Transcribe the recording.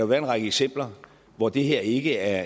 være en række eksempler hvor det her ikke er